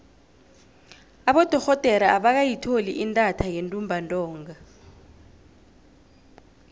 abodorhodere abakayitholi intatha yentumbantonga